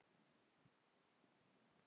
Við elskum þig mjög mikið.